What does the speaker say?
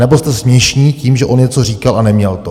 Anebo jste směšní tím, že on něco říkal a neměl to.